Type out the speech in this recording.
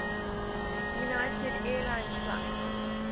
united airlines flight